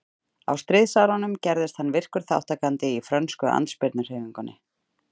Á stríðsárunum gerðist hann virkur þátttakandi í frönsku andspyrnuhreyfingunni.